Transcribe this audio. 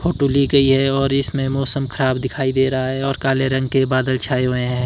Photo ली गई है और इसमें मौसम खराब दिखाई दे रहा है और काले रंग के बादल छाए हुए हैं।